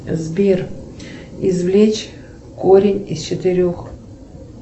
сбер извлечь корень из четырех